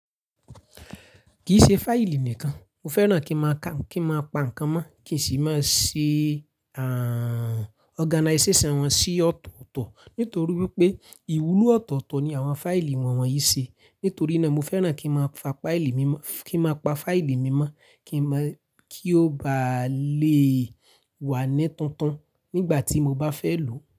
Kì í ṣe fáìlì nìkan, mo fẹ́ràn kí n máa ka kí n má pa ǹkan mọ́ kìí sì máa ṣe organization wọn sí ọ̀tọ̀ọ̀tọ̀ nítorí wípé ìwúlò ọ̀tọ̀ọ̀tọ̀ ni àwọn fáìlì wọn wọ̀nyí ṣe nítorí náà mo fẹ́ràn kí n má fa fáìlì mọ kí n máa pa fáìlì mímọ́ kí n mọ kí ó bà lè e wà ní tuntun nígbà tí mo bá fẹ́ lò ó.